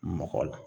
Mɔgɔ la